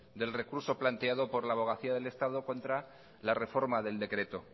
del recurso planteado por la abogacía del estado contra la reforma del decreto